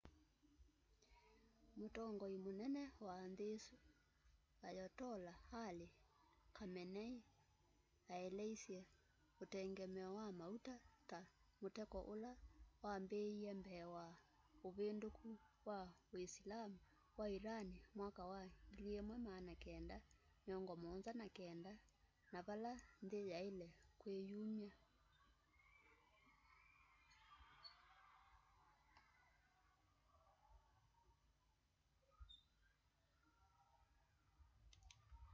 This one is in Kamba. mutongoi mũnene wa nthĩ ĩsũ ayotollah ali khameneĩ aeleĩsye ũtengemeo wa maũta ta mũteko ũla wambĩĩe mbee wa ũvĩndũkũ wa ũĩsilamũ wa ĩran mwaka wa 1979 na vala nthĩ yaĩle kwĩyũmya